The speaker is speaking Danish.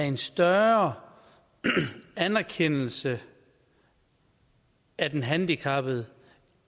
en større anerkendelse af den handicappede